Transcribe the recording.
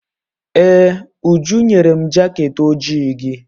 Ee, Uju nyere m jaket ojii gị.